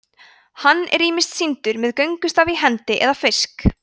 hann er ýmist sýndur með göngustaf í hendi eða fisk